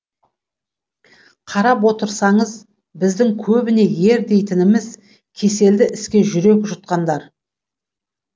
қарап отырсаңыз біздің көбіне ер дейтініміз кеселді іске жүрек жұтқандар